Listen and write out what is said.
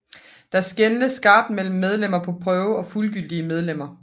Der skelnedes skarpt mellem medlemmer på prøve og fuldgyldige medlemmer